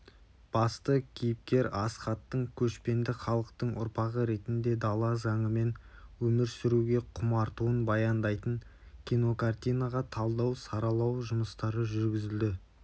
басты кейіпкер асхаттың көшпенді халықтың ұрпағы ретінде дала заңымен өмір сүруге құмартуын баяндайтын кинокартинаға талдау-саралау жұмыстары жүргізілді